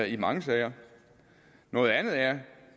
i mange sager noget andet er